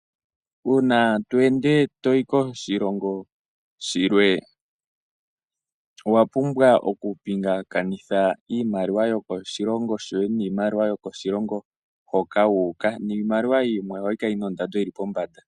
Uuna to ende toyi koshilongo shilwe owapubwa okupingakanitha iimaliwa yokoshilongo shoye noyo koshilongo hoka wuuka. Iimaliwa yimwe ohayi kala yina ondando yili pombanda.